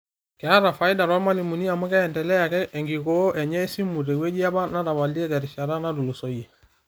Ketaa faida toormalimuni amu keendelea ake enkikoo enye esimu tewueji apa netapalie terishata natulusoyie.